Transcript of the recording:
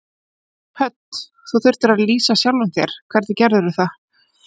Hödd: Þú þurftir að lýsa sjálfum þér, hvernig gerðirðu það?